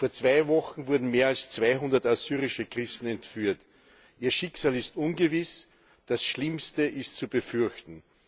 Vor zwei Wochen wurden mehr als 200 assyrische Christen entführt. Ihr Schicksal ist ungewiss, das Schlimmste ist zu befürchten.